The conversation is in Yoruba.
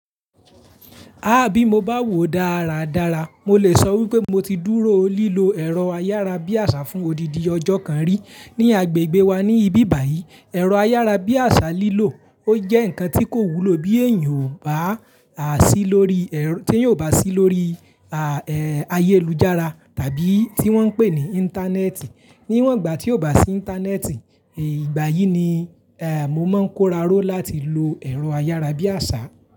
Ah bí mo bá wò dáradára, mo lè sọ wípé mo ti dúró lílo ẹ̀rọ ayárabíàṣá fún odidi ọjọ́ kan rí. Ni agbègbè wa ní ibí báyìí, ẹ̀rọ ayárabíàṣá lílò ó jẹ́ ǹkan tí kò wúlò bí èèyàn ò bá sí lórí ayélujára tàbí tí wọ́n ń pè ní Íńtánẹ́ẹ̀tì. Níwọ̀n ìgbà tí ò bá sí Íńtánẹ́ẹ̀tì, ìgbà yìí ni mo máa ń kóra ró láti lo ẹ̀rọ ayárabíàṣá.